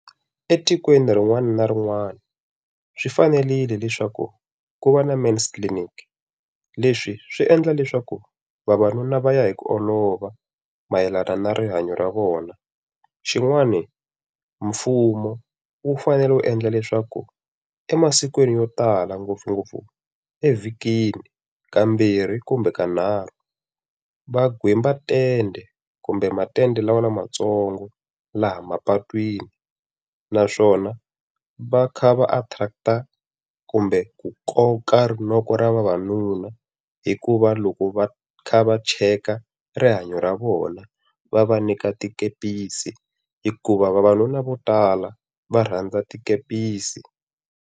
Etikweni rin'wana na rin'wana swi fanerile leswaku ku va na men's clinic. Leswi swi endla leswaku vavanuna va ya hi ku olova mayelana na rihanyo ra vona. Xin'wani mfumo wu fanele wu endla leswaku emasikwini yo tala ngopfungopfu evhikini kambirhi kumbe kanharhu va gwemba tende kumbe matende lama lamantsongo laha mapatwini naswona va kha va attract-a kumbe ku koka rinoko ra vavanuna hi ku va loko va kha va cheka rihanyo ra vona, va va nyika tikepisi hikuva vavanuna vo tala va rhandza tikepisi.